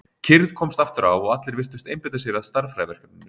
Kyrrð komst aftur á og allir virtust einbeita sér að stærðfræðiverkefninu.